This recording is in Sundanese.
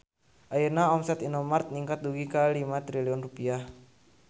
Ayeuna omset Indomart ningkat dugi ka 5 triliun rupiah